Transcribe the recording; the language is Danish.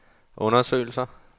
undersøgelser